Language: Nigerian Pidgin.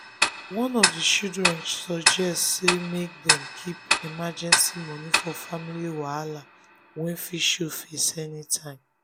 one of the chlidren suggest say make dem keep emergency money for family wahala wey fit show face anytime.